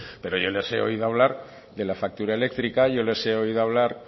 pero yo les he oído hablar de la factura eléctrica yo les he oído hablar